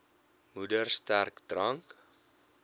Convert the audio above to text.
moeder sterk drank